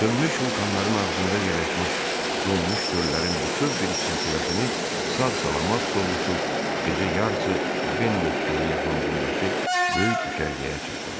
Sönmüş vulkanların ağzında yerləşmiş donmuş göllərin bütöv bir silsiləsini sağ-salamat sovuşub gecə yarısı Bennet gölü yaxınlığındakı böyük düşərgəyə çatdılar.